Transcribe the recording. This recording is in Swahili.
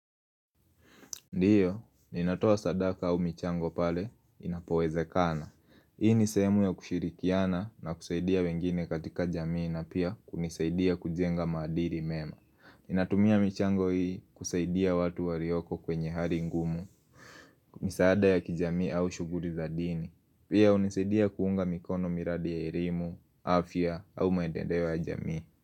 Ndiyo, ninatoa sadaka au michango pale, inapowezekana. Hii ni sehemu ya kushirikiana na kusaidia wengine katika jamii na pia kunisaidia kujenga maadili mema. Ninatumia michango hii kusaidia watu walioko kwenye hali ngumu, misaada ya kijamii au shughuli za dini. Pia hunisaidia kuunga mikono miradi ya elimu, afya au maendeleo ya jamii.